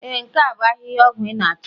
Ee nke a bu ahihia ọgwụ ị na-achọ